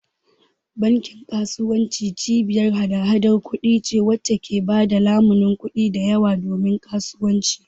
Bankin kasuwanci cibiyar hada-hadar kuɗi ce wacce ke ba da lamunin kuɗi da yawa domin kasuwanci